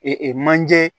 manje